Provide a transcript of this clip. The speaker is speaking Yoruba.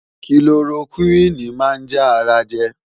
Kilorokúìnì máa ń já ara jẹ.